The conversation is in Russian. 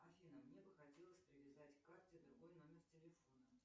афина мне бы хотелось привязать к карте другой номер телефона